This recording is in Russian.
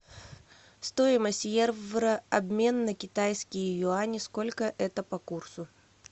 стоимость евро обмен на китайские юани сколько это по курсу